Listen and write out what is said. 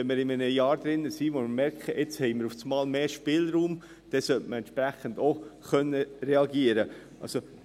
Wenn wir in einem Jahr sind, in dem wir plötzlich merken, dass wir jetzt mehr Spielraum haben, sollte man auch entsprechend reagieren können.